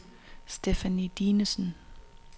Stephanie Dinesen